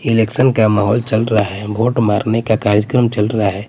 Election का माहौल चल रहा हैं वोट मारने का कार्यक्रम चल रहा हैं।